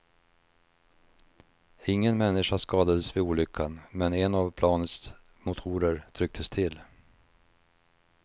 Ingen människa skadades vid olyckan, men en av planets motorer trycktes till.